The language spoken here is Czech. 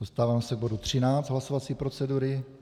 Dostáváme se k bodu 13 hlasovací procedury.